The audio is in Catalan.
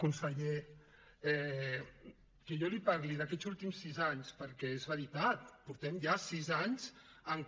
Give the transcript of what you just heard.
conseller que jo li parli d’aquests últims sis anys perquè és veritat portem ja sis anys en que